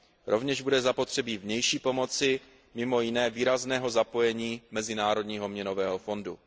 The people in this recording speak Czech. Rovněž bude zapotřebí vnější pomoci, mimo jiné výrazného zapojení Mezinárodního měnového fondu.